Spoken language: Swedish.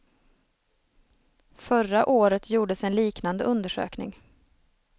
Förra året gjordes en liknande undersökning.